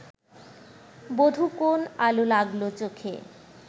বধূ কোন আলো লাগলো চোখে